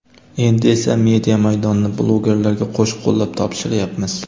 Endi esa media maydonini blogerlarga qo‘sh-qo‘llab topshiryapmiz.